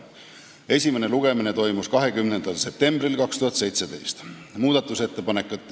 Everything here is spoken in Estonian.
Esimene lugemine toimus 20. septembril 2017.